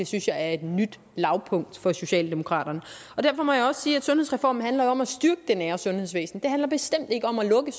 synes er et nyt lavpunkt for socialdemokraterne derfor må jeg også sige at sundhedsreformen jo handler om at styrke det nære sundhedsvæsen det handler bestemt ikke om at lukke